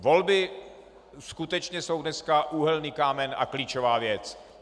Volby skutečně jsou dneska úhelný kámen a klíčová věc.